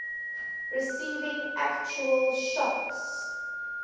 receiving actual shocks